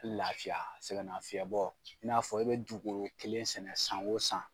Laafiya sɛgɛn nafiyɛn bɔ i n'a fɔ i bɛ dugukolo kelen sɛnɛ san o san.